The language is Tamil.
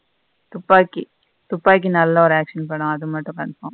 துப்பாக்கி. துப்பாக்கி நல்ல ஒரு action படம் அது மட்டும் confirm.